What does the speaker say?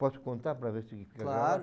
Posso contar para ver se fica... Claro.